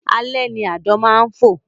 Alẹ́ ni àdán máa ń fò